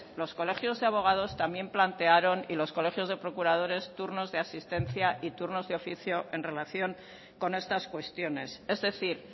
los colegios de abogados también plantearon y los colegios de procuradores turnos de asistencia y turnos de oficio en relación con estas cuestiones es decir